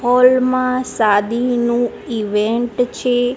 Hall માં શાદીનું event છે.